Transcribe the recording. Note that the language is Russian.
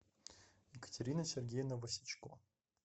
екатерина сергеевна васечко